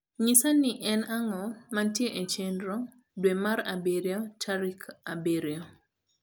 nyisa ni en ango mantie e chenro dwe mar abirio tarik abirio